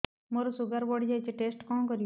ମୋର ଶୁଗାର ବଢିଯାଇଛି ଟେଷ୍ଟ କଣ କରିବି